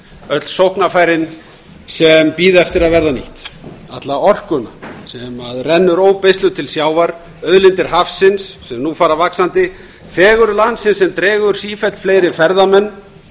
öll sóknarfærin sem bíða eftir að verða nýtt alla orkuna sem rennur óbeisluð til sjávar auðlindir hafsins sem nú fara vaxandi fegurð landsins sem dregur sífellt fleiri ferðamenn